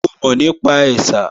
Ṣe o mọ̀ nípa ẹ̀sà?